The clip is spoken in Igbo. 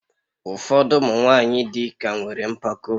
Ụfọdụ ụmụ nwanyị dị ka nwere mpako